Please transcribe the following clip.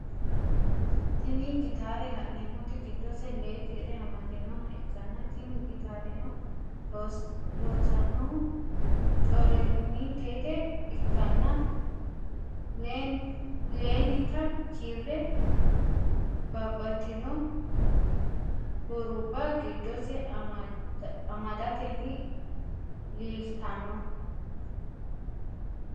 Tini gitare lannemot gidose lee kire amadinoha ikana tini gitareno loosanohu corenitete ikana leenita kire babatitino huruba gidose amdateni lilitano.